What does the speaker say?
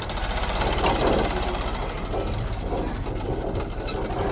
kanye nekutsembeka kanye